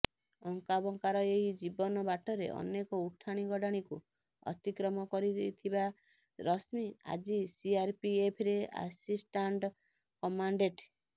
ଅଙ୍କାବଙ୍କାର ଏହି ଜୀବନ ବାଟରେ ଅନେକ ଉଠାଣି ଗଡାଣିକୁ ଅତିକ୍ରମ କରିଥିବା ରଶ୍ମି ଆଜି ସିଆରପିଏଫରେ ଆସିଷ୍ଟାଂଟ୍ କମାଣ୍ଡେଂଟ୍